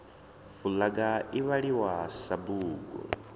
fulaga i vhaliwa sa bugu